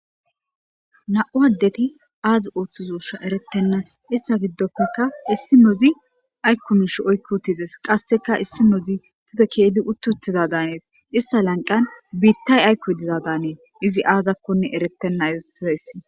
na7u addeti aazi ooththizousha erettenna ista giddofekka issi nozi aykkumish oykkutides qasseka issi nozi pute keedi uttiuttiza daanees ista lanqan biittay aykkoy dizadaanee izi aazakkonne erettenna zotizayssi